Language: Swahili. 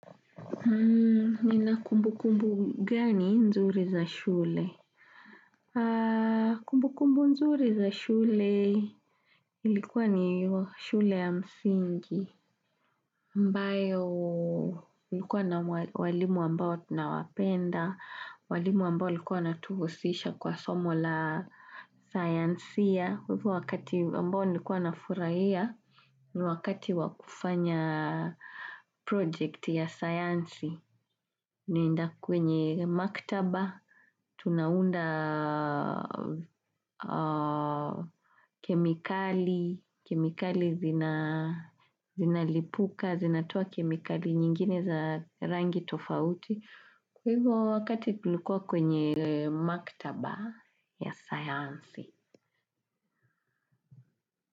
Nina kumbukumbu gani nzuri za shule? Kumbukumbu nzuri za shule, ilikuwa ni shule ya msingi. Mbayo, ilikuwa na walimu ambao tunawapenda, walimu ambao likuwa wanatuhusisha kwa somo la sayansia. Kwa hivyo wakati ambao nikuwa na furahia, ni wakati wakufanya project ya sayansi, naenda kwenye maktaba, tunaunda kemikali, kemikali zinalipuka, zinatoa kemikali nyingine za rangi tofauti, kwa hivyo wakati tulikuwa kwenye maktaba ya sayansi.